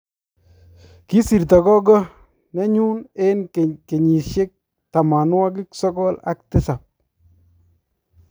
kisirto gogoenyu eng' kenyisiek tamanwokik sokol ak tisap.